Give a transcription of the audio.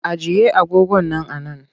Ajiye agogon nan a nan!